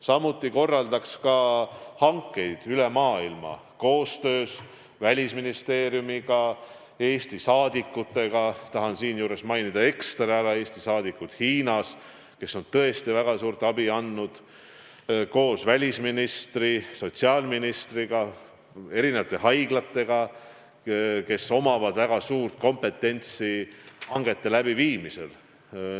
Samuti korraldab minister hankeid üle maailma, koostöös Välisministeeriumi ja Eesti saadikutega – tahan siinjuures ekstra ära mainida Eesti saadikud Hiinas, kes on tõesti andnud väga suurt abi –, koos välisministriga, sotsiaalministriga, eri haiglatega, kellel on väga suur kompetentsus hangete tegemisel.